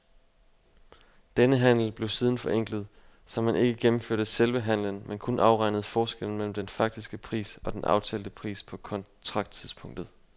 Denne handel blev siden forenklet, så man ikke gennemførte selve handelen, men kun afregnede forskellen mellem den faktiske pris og den aftalte pris på kontrakttidspunktet.